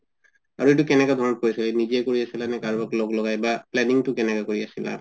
আৰু এইটো কেনেকুৱা ধৰণত কৰিছা নিজে কৰি আছা নে নে কাৰোবাক লগ লগাই planning তো কেনেকে কৰি আছিলা